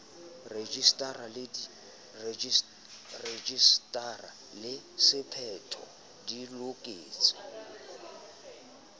rejisetara le sephetho di loketse